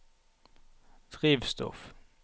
drivstoff